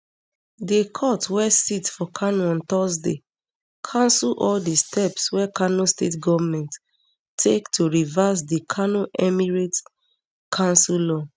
di court wey sit for kano on thursday cancel all di steps wey kano state goment take to reverse di kano emirates council law